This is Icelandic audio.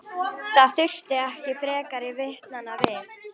Það þurfti ekki frekari vitnanna við.